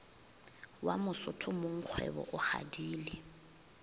wa mosotho mongkgwebo o kgadile